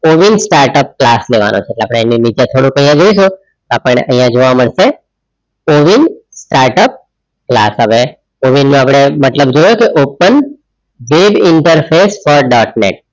ઓવિન startup class લેવાનું છે update આની નીચે આઇયાહ થોડું જોઇય શું આપણે આઇયાહ જોવા મડસે કોવિન startup ક્લાસ આવે કોવિન ને અપડે મતલબ જોયો કે open dedinterfear dotnut